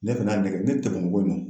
Ne fɛn'a nɛgɛ ne tɛ